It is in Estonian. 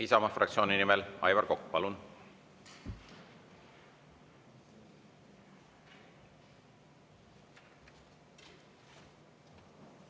Isamaa fraktsiooni nimel Aivar Kokk, palun!